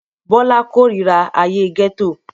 Bọ́lá kórira ayé gẹ́tò